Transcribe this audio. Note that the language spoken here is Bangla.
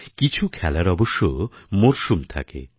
কিছু খেলার অবশ্য মরশুম থাকে